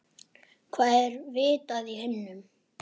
Hvað er vitað í heiminum?